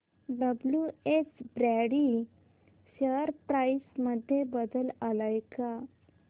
WH Brady share price मध्ये बदल आलाय का